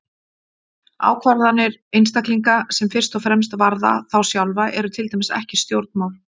Ákvarðanir einstaklinga sem fyrst og fremst varða þá sjálfa eru til dæmis ekki stjórnmál.